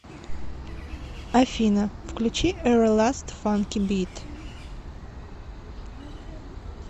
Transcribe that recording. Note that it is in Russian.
афина включи эверласт фанки бит